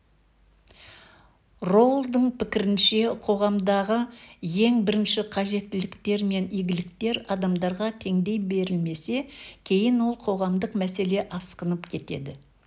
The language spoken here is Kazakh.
роулдың пікірінше қоғамдағы ең бірінші қажеттіліктер мен игіліктер адамдарға теңдей берілмесе кейін ол қоғамдық мәселе асқынып кетеді